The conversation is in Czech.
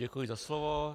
Děkuji za slovo.